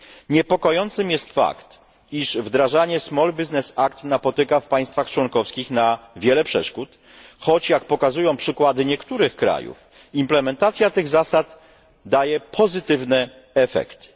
Niepokojącym jest fakt, iż wdrażanie Small Business Act napotyka w państwach członkowskich na wiele przeszkód, choć jak pokazują przykłady niektórych krajów implementacja tych zasad daje pozytywne efekty.